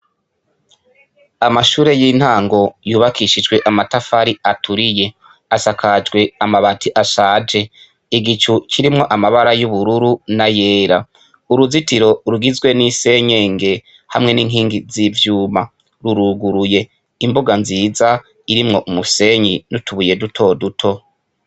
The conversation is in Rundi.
Amashure y'intango yubakishijwe amatafari aturiye; asakajwe amabati ashaje; igicu kirimwo amabara y'ubururu n'ayera; uruzitiro rugizwe n'isenyenge hamwe n'inkingi z'ivyuma ruruguruye. Imbuga nziza irimwo umusenyi n'utubuye duto duto.